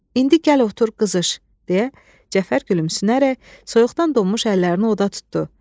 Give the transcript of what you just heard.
İndi gəl otur, qızış, deyə Cəfər gülümsünərək soyuqdan donmuş əllərini oda tutdu.